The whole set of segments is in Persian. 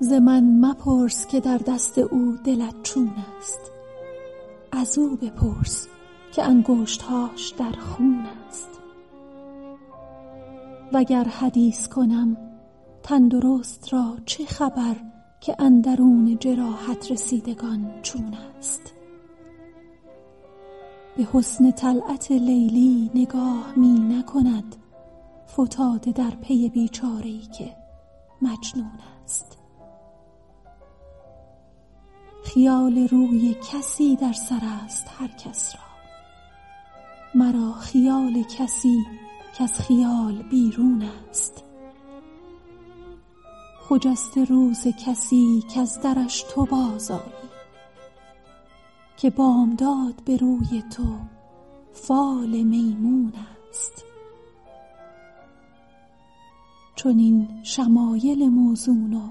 ز من مپرس که در دست او دلت چون است ازو بپرس که انگشت هاش در خون است وگر حدیث کنم تن درست را چه خبر که اندرون جراحت رسیدگان چون است به حسن طلعت لیلی نگاه می نکند فتاده در پی بی چاره ای که مجنون است خیال روی کسی در سر است هر کس را مرا خیال کسی کز خیال بیرون است خجسته روز کسی کز درش تو بازآیی که بامداد به روی تو فال میمون است چنین شمایل موزون و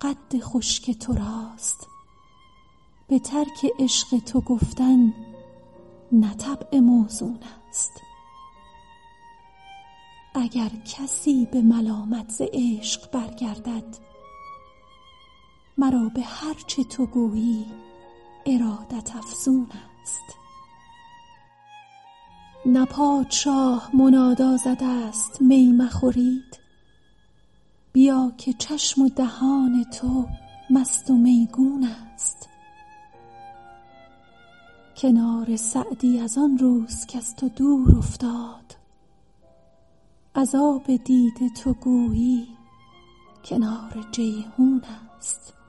قد خوش که تو راست به ترک عشق تو گفتن نه طبع موزون است اگر کسی به ملامت ز عشق برگردد مرا به هر چه تو گویی ارادت افزون است نه پادشاه منادی زده است می مخورید بیا که چشم و دهان تو مست و میگون است کنار سعدی از آن روز کز تو دور افتاد از آب دیده تو گویی کنار جیحون است